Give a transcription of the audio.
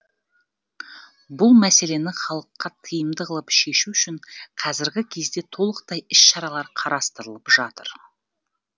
бұл мәселені халыққа тиімді қылып шешу үшін қазіргі кезде толықтай іс шаралар қарастырылып жатыр